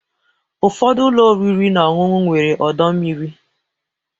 Ụfọdụ ụlọ oriri na ọṅụṅụ nwere ọdọ mmiri.